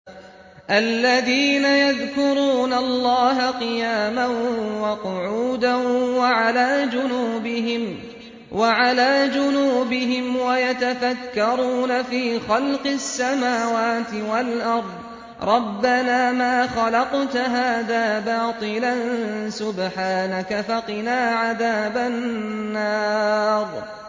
الَّذِينَ يَذْكُرُونَ اللَّهَ قِيَامًا وَقُعُودًا وَعَلَىٰ جُنُوبِهِمْ وَيَتَفَكَّرُونَ فِي خَلْقِ السَّمَاوَاتِ وَالْأَرْضِ رَبَّنَا مَا خَلَقْتَ هَٰذَا بَاطِلًا سُبْحَانَكَ فَقِنَا عَذَابَ النَّارِ